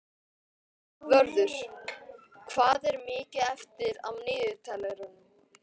Vörður, hvað er mikið eftir af niðurteljaranum?